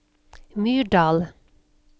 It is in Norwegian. Myrdal